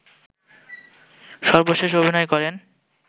সর্বশেষ অভিনয় করেন